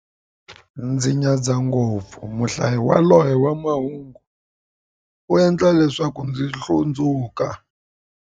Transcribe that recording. Ndzi nyadza ngopfu muhlayi yaloye wa mahungu, u endla leswaku ndzi hlundzuka.